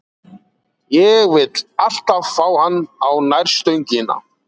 Ég vill alltaf fá hann á nærstöngina.